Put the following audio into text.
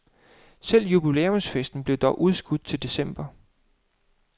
Selve jubilæumsfesten blev dog udskudt til december.